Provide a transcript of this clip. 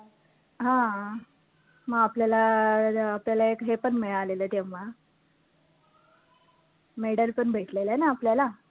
हा, मग आपल्याला अं एक हे पण मिळालेलं तेव्हा medal पण भेटलेलं ना आपल्याला